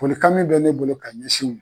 Folikan min bɛ ne bolo ka ɲɛsin